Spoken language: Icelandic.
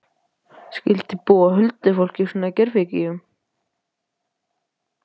Skyldi búa huldufólk í svona gervigígum?